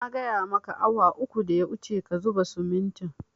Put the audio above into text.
Na gaya maka awa uku da ya wuce ka zuba simintin